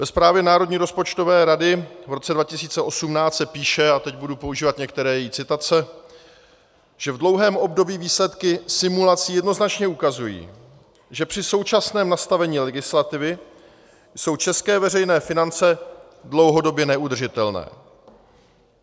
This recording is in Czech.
Ve zprávě Národní rozpočtové rady v roce 2018 se píše - a teď budu používat některé její citace - že v dlouhém období výsledky simulací jednoznačně ukazují, že při současném nastavení legislativy jsou české veřejné finance dlouhodobě neudržitelné.